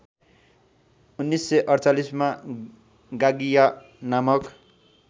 १९४८ मा गागिया नामक